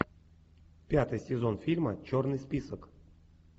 пятый сезон фильма черный список